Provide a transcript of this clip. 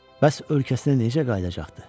Bəs ölkəsinə necə qayıdacaqdı?